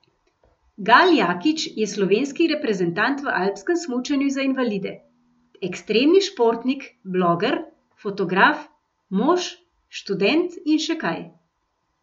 Gal Jakič je slovenski reprezentant v alpskem smučanju za invalide, ekstremni športnik, bloger, fotograf, mož, študent in še kaj.